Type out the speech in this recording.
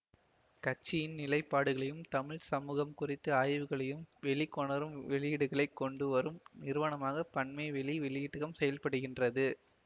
கட்சியின் நிலைப்பாடுகளையும் தமிழ் சமூகம் குறித்து ஆய்வுகளையும் வெளி கொணரும் வெளியீடுகளைக் கொண்டு வரும் நிறுவனமாக பன்மைவெளி வெளியீட்டகம் செயல்படுகின்றது